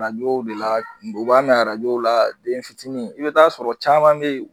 Arajow de la b'a mɛn arajow la den fitinin i bɛ t'a sɔrɔ caman de